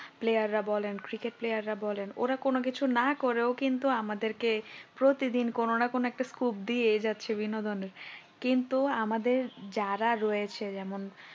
Player রা বলেন cricket player রা বলেন ওরা কোন কিছু না করে ও কিন্তু আমাদেরকে প্রতিদিন কোন না কোন scope দিয়ে যাচ্ছে বিনোদনে কিন্তু আমাদের যারা রয়েছে যেমন